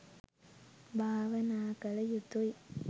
භාවනා කළ යුතුයි.